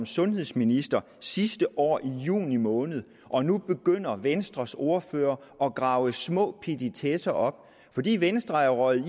sundhedsminister sidste år i juni måned og nu begynder venstres ordfører at grave små petitesser op fordi venstre er røget